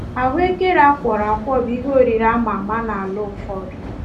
Ahụekere a kwọrọ akwọ bụ ihe oriri ama ama n’ala ụfọdụ.